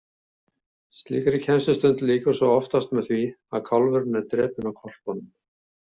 Slíkri kennslustund lýkur svo oftast með því að kálfurinn er drepinn af hvolpunum.